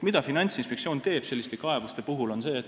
Mida Finantsinspektsioon selliste kaebuste puhul teeb?